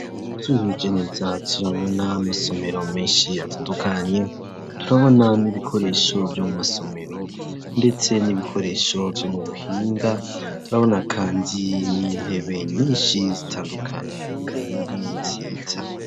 Twihweje neza turabona amasomero menshi atandukanye ,turabona n'ibikoresho vyo mu masomero ndetse n'ibikoresho vyo mu buhinga turabona kandi nintebe nyinshi zitandukanye kandi nziza.